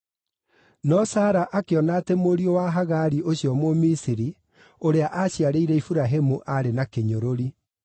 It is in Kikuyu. No Sara akĩona atĩ mũriũ wa Hagari ũrĩa Mũmisiri aaciarĩire Iburahĩmu aarĩ na kĩnyũrũri.